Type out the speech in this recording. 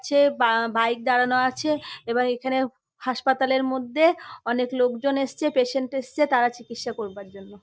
যে বা বাইক দাঁড়ানো আছে এবার এখানে হাসপাতাল -এর মধ্যে অনেক লোকজন এসছে পেশেন্ট এসছে তারা চিকিৎসা করবার জন্য।